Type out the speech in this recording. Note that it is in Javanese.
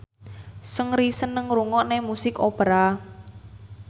Seungri seneng ngrungokne musik opera